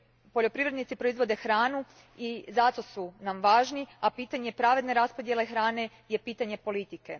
Poljoprivrednici proizvode hranu i zato su nam važni, a pitanje pravedne raspodjele hrane je pitanje politike.